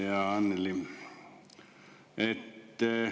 Ja Annely!